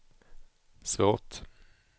svårt